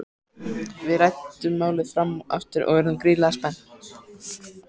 Við ræddum málið fram og aftur og urðum gríðarlega spennt.